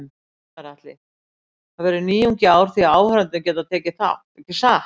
Gunnar Atli: Það verður nýjung í ár því áhorfendur geta tekið þátt, ekki satt?